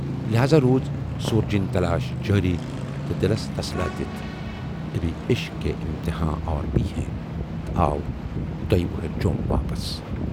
لٮ۪ہذا روٗز سورجِن تلاش جٲری تہٕ دِلس تسلاہ دِتھ 'ابھی عشق کے اِمتحان اور بھی ہیں"تہٕ آو دۅیہِ وٕہرٕۍ جوم واپَس۔